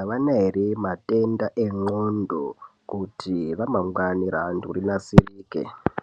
avana ere matenda endxondo kuti ramangwani reantu rinasirike.